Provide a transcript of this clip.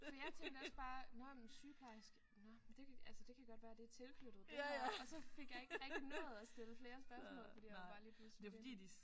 Så jeg tænkte også bare nåh men sygeplejerske nåh men det kan altså det kan godt være det er tilknyttet det her og så fik jeg ikke rigtig nået at stille flere spørgsmål fordi jeg bare lige pludselig skulle ind